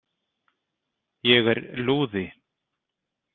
Ég er lúði.